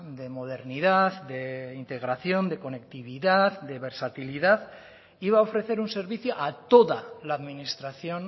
de modernidad de integración de conectividad de versatilidad iba a ofrecer un servicio a toda la administración